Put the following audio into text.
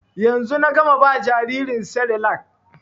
Yanzu na gama ba jaririn serelak